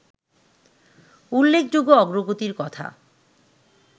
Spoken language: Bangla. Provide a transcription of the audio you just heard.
উল্লেখযোগ্য অগ্রগতির কথা